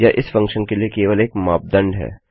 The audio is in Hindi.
यह इस फंक्शन के लिए केवल एक मापदंड है